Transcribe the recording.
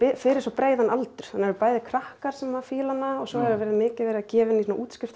fyrir svo breiðan aldur það eru bæði krakkar sem fíla hana og svo er mikið verið að gefa hana í